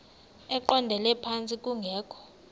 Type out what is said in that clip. eqondele phantsi kungekho